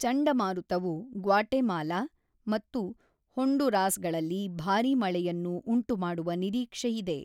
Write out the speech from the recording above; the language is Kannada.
ಚಂಡಮಾರುತವು ಗ್ವಾಟೆಮಾಲಾ ಮತ್ತು ಹೊಂಡುರಾಸ್‌ಗಳಲ್ಲಿ ಭಾರೀ ಮಳೆಯನ್ನು ಉಂಟುಮಾಡುವ ನಿರೀಕ್ಷೆಯಿದೆ.